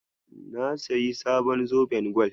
Na sayi sabon zoben gwal.